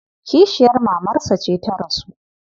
Kishiyar mamarsa ce ta rasu.